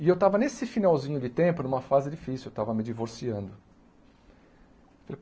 E eu estava nesse finalzinho de tempo, numa fase difícil, eu estava me divorciando.